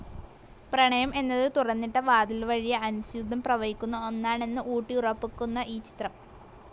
പ്രണയം എന്നത് തുറന്നിട്ട വാതിൽവഴ്യ അനുസ്യൂതം പ്രവഹിക്കുന്ന ഒന്നാണെന്ന് ഊട്ടിയുറപ്പിക്കുന്ന ഈ ചിത്രം.